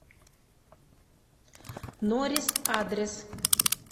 норис адрес